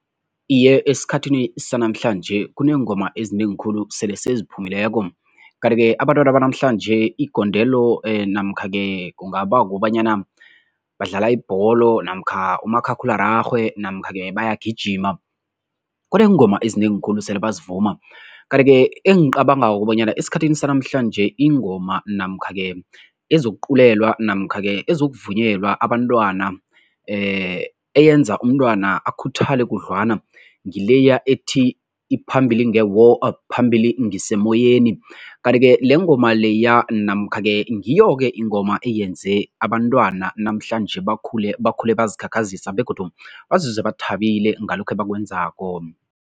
Iye, esikhathini sanamhlanje kuneengoma ezinengi khulu sele seziphumileko. Kanti-ke abantwana banamhlanje igondelo namkha-ke kungaba kobanyana badlala ibholo namkha umakhakhulararhwe namkha-ke bayagijima, kuneengoma ezinengi khulu sele bazivuma kanti-ke engicabangako kobanyana esikhathini sanamhlanje ingoma namkha-ke ezokuculewa namkha-ke ezokuvunyelwa abantwana eyenza umntwana akhuthale khudlwana, ngileya ethi, phambili nge-war phambili ngisemoyeni. Kanti-ke lengoma leya namkha-ke ngiyo-ke ingoma eyenze abantwana namhlanje bakhule, bakhule bazikhakhazisa begodu bazizwe bathabile ngalokho ebakwenzako.